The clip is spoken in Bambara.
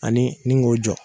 Ani ni k'o jɔ